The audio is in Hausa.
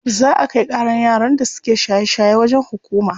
Za a kai ƙaran yaran da suke shaye shaye wajen hukuma.